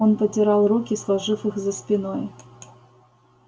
он потирал руки сложив их за спиной